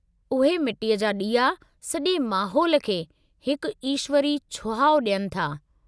उहे मिट्टी जा ॾीआ सॼे माहौल खे हिकु ईश्वरी छुहाउ ॾियनि था।